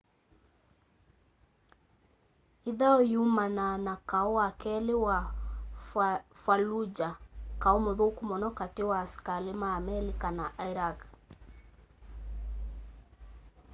ĩthaũ yumanaa na kaũ wa kelĩ wa fallujah kaũ mũthũku mũno katĩ wa asikalĩ ma amelika na iraq